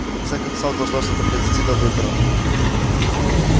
в конце концов должно что-то произойти до выборов